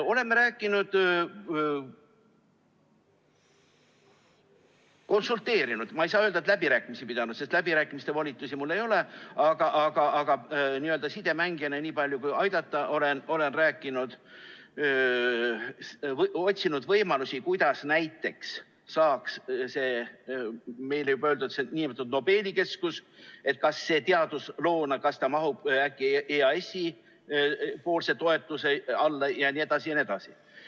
Oleme rääkinud, konsulteerinud – ma ei saa öelda, et läbirääkimisi pidanud, sest läbirääkimiste volitusi mul ei ole, aga n‑ö sidemängijana nii palju, kui saan aidata, olen rääkinud – ja otsinud võimalusi, kas näiteks saaks see juba mainitud nn Nobeli keskus teaduskeskusena mahtuda äkki EAS‑i toetuse alla jne.